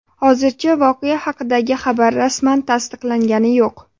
Hozircha voqea haqidagi xabar rasman tasdiqlangani yo‘q.